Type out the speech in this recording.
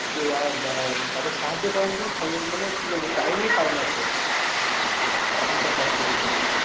দেওয়া বা তাকে সাহায্য করার মতন মানে কি বলবো time ই পায়না সে ঠিক আছে। এখনকার ব্যস্ত জীবনে।